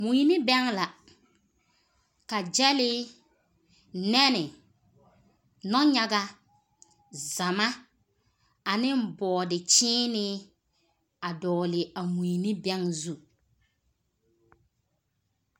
Mui ne bɛŋɛ la ka gyɛle, nɛne, nɔnyaga, zama, ane bɔɔde kyeene a a dɔɔle a mui ne a bɛŋɛ zu.